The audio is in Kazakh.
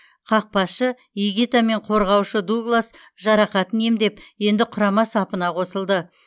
қақпашы игита мен қорғаушы дуглас жарақатын емдеп енді құрама сапына қосылды